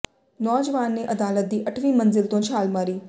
ਨੌਜਵਾਨ ਨੇ ਅਦਾਲਤ ਦੀ ਅੱਠਵੀਂ ਮੰਜ਼ਿਲ ਤੋਂ ਛਾਲ ਮਾਰੀ